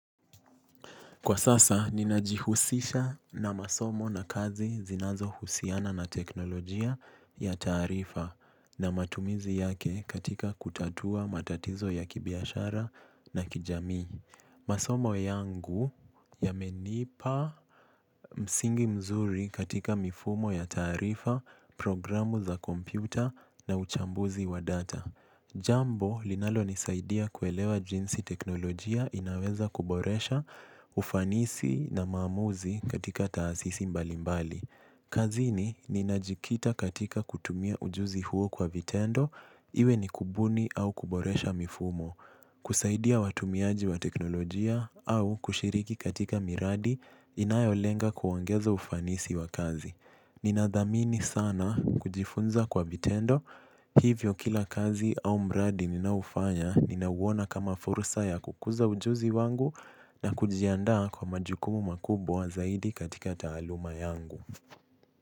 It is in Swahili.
Kwa sasa, ninajihusisha na masomo na kazi zinazohusiana na teknolojia ya taarifa na matumizi yake katika kutatua matatizo ya kibiashara na kijamii. Masomo yangu yamenipa msingi mzuri katika mifumo ya taarifa, programu za kompyuta na uchambuzi wa data. Jambo linalonisaidia kuelewa jinsi teknolojia inaweza kuboresha ufanisi na maamuzi katika taasisi mbalimbali. Kazini ninajikita katika kutumia ujuzi huo kwa vitendo iwe ni kubuni au kuboresha mifumo. Kusaidia watumiaji wa teknolojia au kushiriki katika miradi inayolenga kuongeza ufanisi wa kazi. Ninadhamini sana kujifunza kwa vitendo, hivyo kila kazi au mradi ninaoufanya ninauona kama fursa ya kukuza ujuzi wangu na kujiandaa kwa majukumu makubwa zaidi katika taaluma yangu.